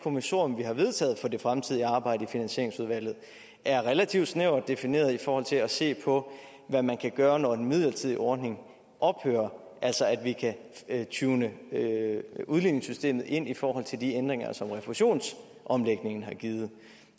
kommissorium vi har vedtaget for det fremtidige arbejde i finansieringsudvalget er relativt snævert defineret i forhold til at se på hvad man kan gøre når den midlertidige ordning ophører altså at vi kan tune udligningssystemet ind i forhold til de ændringer som refusionsomlægningen har givet